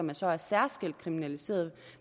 der så er særskilt kriminaliseret